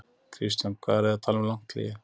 Kristján: Hvað eru þið að tala um langt hlé?